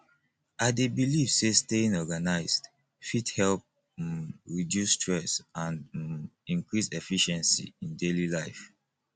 i dey believe say staying organized fit help um reduce stress and um increase efficiency in daily life